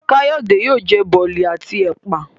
Kayode yóò jẹ Boli àti ẹpa.